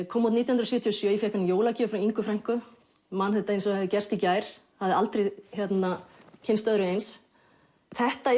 kom út nítján hundruð sjötíu og sjö ég fékk hana í jólagjöf frá Ingu frænku man þetta eins og það hafi gerst í gær hafði aldrei kynnst öðru eins þetta